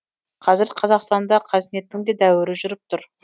қазір қазақстанда қазнеттің де дәуірі жүріп тұр